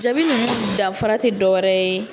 Jaabi nin danfara tɛ dɔwɛrɛ ye.